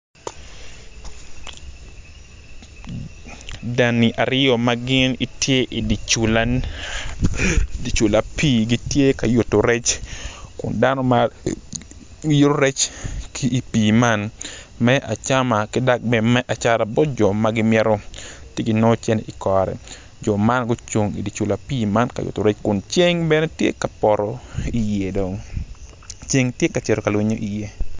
Dani aryo ma gin gitye i dye cula man gitye ka wot dok mon man gitye gin adek kun gin weng guruko kala bongo mapadipadi kun ngat acel tye ma otingo latin i cinge kun ngat ma i dyere-ni oruko bongo cengtye ka cito ka lwinyo iye.